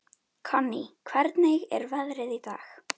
Konný, hvernig er veðrið í dag?